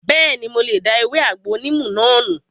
Bẹ́ẹ̀ni, mo lè da ewé àgbo níìmù náà nù